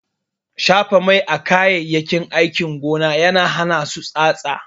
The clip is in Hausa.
Shafa mai a kayayyakin aikin gona na hana su yin tsatsa.